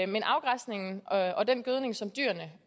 men afgræsningen og den gødning som dyrene